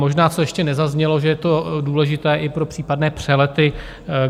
Možná tu ještě nezaznělo, že je to důležité i pro případné přelety.